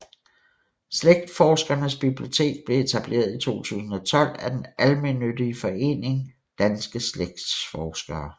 Slægtsforskernes Bibliotek blev etableret i 2012 af den almennyttige forening Danske Slægtsforskere